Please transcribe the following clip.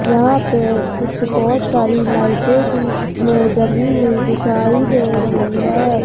यहां पे कुछ बहुत सारी लाइटें भी इसमें जली हुई दिखाई दे रही है।